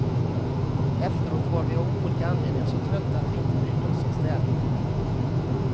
Efteråt var vi, av olika anledningar, så trötta att vi inte brydde oss om städningen.